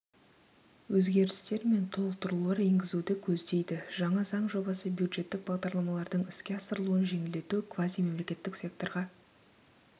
өзгерістер мен толықтырулар енгізуді көздейді жаңа заң жобасы бюджеттік бағдарламалардың іске асырылуын жеңілдету квазимемлекеттік секторға